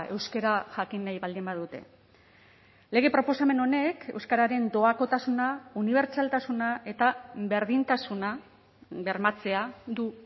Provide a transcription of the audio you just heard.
euskara jakin nahi baldin badute lege proposamen honek euskararen doakotasuna unibertsaltasuna eta berdintasuna bermatzea du